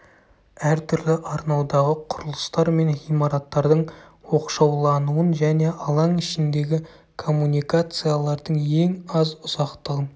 әртүрлі арнаудағы құрылыстар мен ғимараттардың оқшаулануын және алаң ішіндегі коммуникациялардың ең аз ұзақтығын